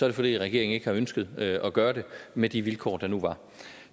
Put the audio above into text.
det fordi regeringen ikke har ønsket at gøre det med de vilkår der nu var